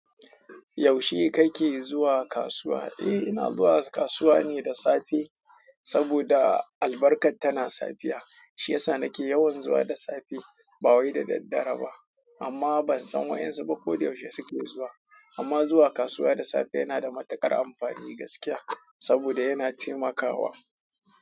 Yaushe kake zuwa kasuwa? Eh, ina zuwa kasuwa ne da safe saboda albarkar tana safiya. Shiyasa nake yawan zuwa da safe ba wai da daddare ba. Amma ban san wayansu ba ko da yaushe suke zuwa ba. Amma zuwa kasuwa da safe yana da matuƙar amfani gaskiya saboda yana taimakawa.